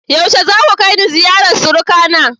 Yaushe zaku kai ni ziyarar surukana?